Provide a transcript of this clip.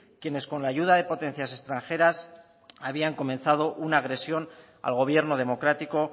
quienes con la ayuda de potencias extranjeras habían comenzado una agresión al gobierno democrático